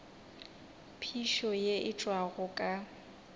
phišo ye e tšwago ka